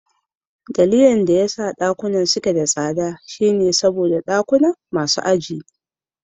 Dalilin da yasa dakunan suke da tsada shine saboda dakunan masu aji ne.